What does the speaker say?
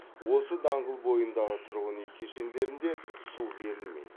осы даңғыл бойындағы тұрғын үй кешендерінде су берілмейді